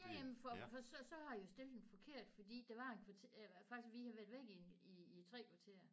Ja ja men for for så så har jeg jo stillet den forkert fordi der var en faktisk vi havde været væk i en i 3 kvarter